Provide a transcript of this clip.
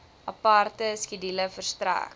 aparte skedule verstrek